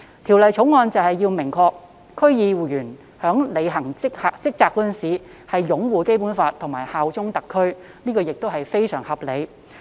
《條例草案》旨在訂明區議員在履行職責時須擁護《基本法》和效忠特區，這亦是非常合理。